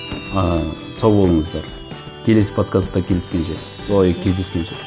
ыыы сау болыңыздар келесі подкастта ой кездескенше